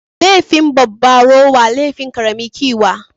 Laifin babba rowa, laifin ƙarami ƙiwa